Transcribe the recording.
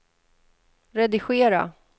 redigera